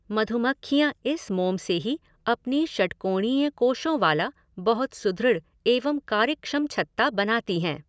मधुमक्खियाँ इस मोम से ही अपनी षट्कौणीय कोषों वाला बहुत सुदृढ़ एवं कार्यक्षम छत्ता बनाती है।